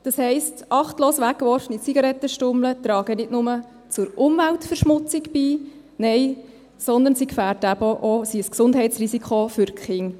Das heisst: Achtlos weggeworfene Zigarettenstummel tragen nicht nur zur Umweltverschmutzung bei, nein, sie sind eben auch ein Gesundheitsrisiko für die Kinder.